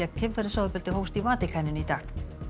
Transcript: kynferðisofbeldi hófst í Vatíkaninu í dag